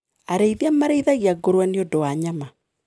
Arĩithia marĩithagia ngũrũwe nĩũndu wa nyama.